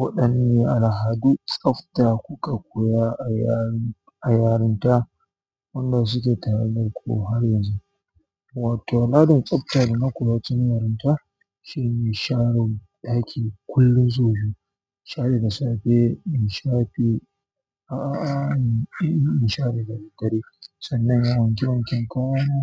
Waɗanne al'adu tsabta kuka koya a yarinta waɗanda suke tattare ku har yanzu? Wato al'adan tsabta da na koya tun yarinta shine sharai ɗaki kullum sau biyu, share da safe, in sha bi a'a, in share gari gari. Sannan wanke wanke ƙauyana,